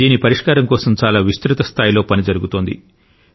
దీని పరిష్కారం కోసం చాలా విస్తృత స్థాయిలో పని జరుగుతోంది